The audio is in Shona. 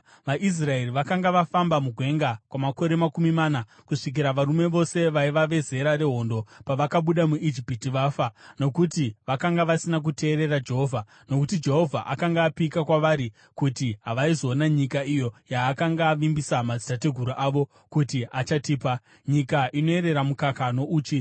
VaIsraeri vakanga vafamba mugwenga kwamakore makumi mana kusvikira varume vose vaiva vezera rehondo pavakabuda muIjipiti vafa, nokuti vakanga vasina kuteerera Jehovha. Nokuti Jehovha akanga apika kwavari kuti havaizoona nyika iyo yaakanga avimbisa madzitateguru avo kuti achatipa, nyika inoerera mukaka nouchi.